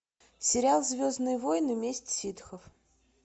сериал звездные войны месть ситхов